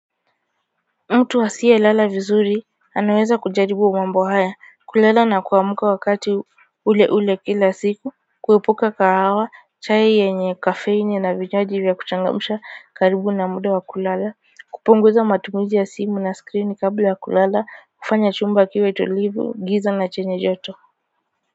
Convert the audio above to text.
Mtu asiye lala vizuri anaweza kujaribu mambo haya, kulala na kuamka wakati ule ule kila siku kuepuka kahawa chai yenye kafeini na vinywaji vya kuchangamsha karibu na muda wa kulala, kupunguza matumizi ya simu na screen kabla wa kulala kufanya chumba kiwe tulivu giza na chenye joto.